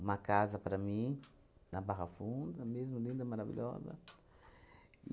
Uma casa para mim, na Barra Funda, mesmo linda, maravilhosa.